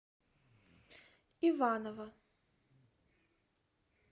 иваново